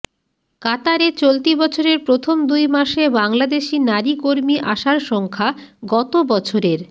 কাতারে চলতি বছরের প্রথম দুই মাসে বাংলাদেশি নারী কর্মী আসার সংখ্যা গত বছরের